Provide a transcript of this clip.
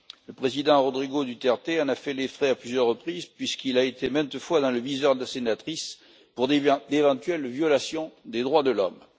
Le président Rodrigo Duterte en a fait les frais à plusieurs reprises, puisqu'il a été maintes fois dans le viseur de la sénatrice pour d'éventuelles violations des droits de l'homme.